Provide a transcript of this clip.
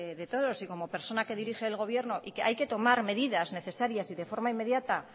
de todos y como persona que dirige el gobierno y que hay que tomar medidas necesarias y de forma inmediata